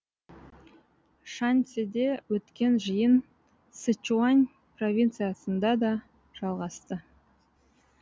шаньсиде өткен жиын сычуань провинциясында да жалғасты